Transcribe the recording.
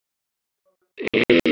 Hvort tveggja er of mikið.